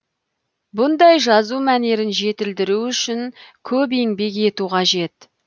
бұндай жазу мәнерін жетілдіру үшін көп еңбек ету қажет